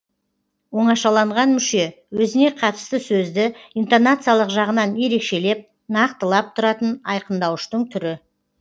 оңашаланған мүше өзіне қатысты сөзді интонациялық жағынан ерекшелеп нақтылып тұратын айқындауыштың түрі